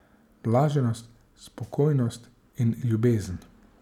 Blaženost, spokojnost in ljubezen.